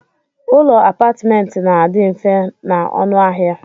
Ụlọ apatment na adi mfe na ọnụ ahia.